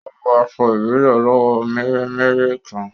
Ó wọ aṣọ ìbílẹ̀ aláwọ̀ mèremère kan